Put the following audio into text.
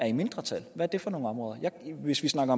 i mindretal hvis hvis man